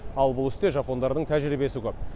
ал бұл істе жапондардың тәжірибесі көп